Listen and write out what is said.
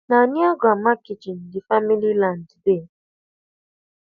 na near grandma kitchen the family land dey